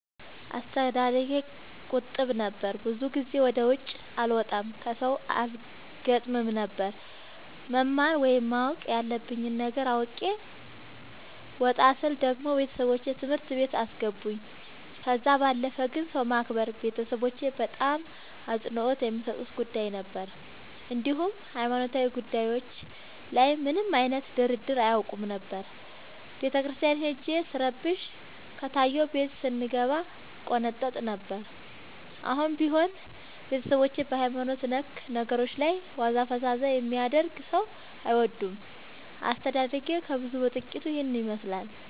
አስተዳደጌ ቁጥብ ነበር። ብዙ ጊዜ ወደ ውጪ አልወጣም ከሠው አልገጥምም ነበር። መማር ወይም ማወቅ ያለብኝ ነገር አውቄ ወጣ ስል ደግሞ ቤተሠቦቼ ትምህርት ቤት አስገቡኝ። ከዛ ባለፈ ግን ሰው ማክበር ቤተሠቦቼ በጣም አፅንኦት የሚሠጡት ጉዳይ ነበር። እንዲሁም ሀይማኖታዊ ጉዳዮች ላይ ምንም አይነት ድርድር አያውቁም ነበር። ቤተክርስቲያን ሄጄ ስረብሽ ከታየሁ ቤት ስንገባ እቆነጠጥ ነበር። አሁንም ቢሆን ቤተሠቦቼ በሀይማኖት ነክ ነገሮች ላይ ዋዛ ፈዛዛ የሚያደርግ ሠው አይወዱም። አስተዳደጌ ከብዙው በጥቂቱ ይህን ይመሥላል።